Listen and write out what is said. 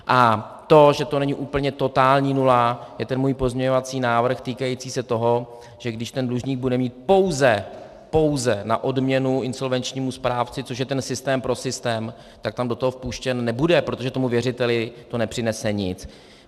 A to, že to není úplně totální nula, je ten můj pozměňovací návrh týkající se toho, že když ten dlužník bude mít pouze, pouze na odměnu insolvenčnímu správci, což je ten systém pro systém, tak tam do toho vpuštěn nebude, protože tomu věřiteli to nepřinese nic.